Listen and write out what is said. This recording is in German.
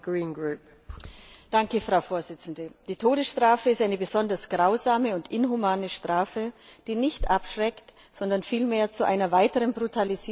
Frau Präsidentin! Die Todesstrafe ist eine besonders grausame und inhumane Strafe, die nicht abschreckt, sondern vielmehr zu einer weiteren Brutalisierung der Gesellschaft führt.